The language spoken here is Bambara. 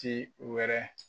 Ci wɛrɛ